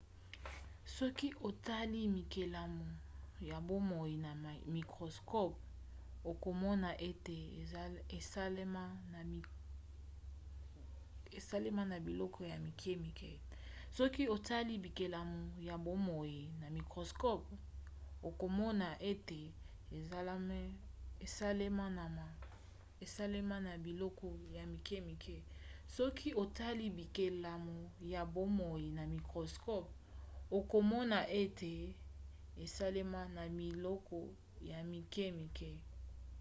soki otali bikelamu ya bomoi na microscope okomona ete esalema na biloko ya mike-mike